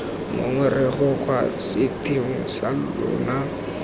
ngongorego kwa setheong sa lona